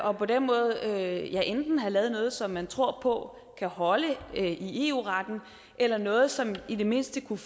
og på den måde enten have lavet noget som man tror på kan holde i eu retten eller noget som i det mindste kunne